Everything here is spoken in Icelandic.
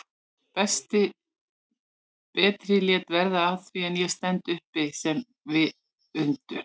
Berti lét verða af því en ég stend uppi sem viðundur?